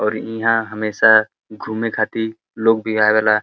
औरी इहाँ हमेशा घूमे खाती लोग भी आवेला।